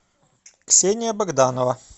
ксения богданова